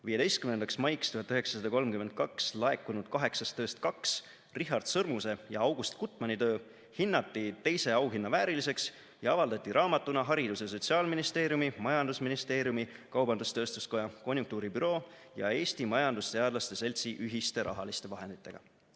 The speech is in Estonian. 15. maiks 1932 laekunud kaheksast tööst kaks, Richard Sõrmuse ja August Gutmanni töö, hinnati teise auhinna vääriliseks ja avaldati raamatuna Haridus- ja Sotsiaalministeeriumi, Majandusministeeriumi, Kaubandus-Tööstuskoja, Konjunktuuri büroo ja Eesti Majandusteadlaste Seltsi ühiste rahaliste vahenditega.